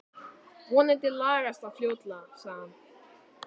Vonandi lagast það fljótlega sagði hann.